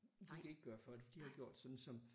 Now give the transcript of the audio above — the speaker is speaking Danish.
De kan ikke gøre for det de har gjort sådan som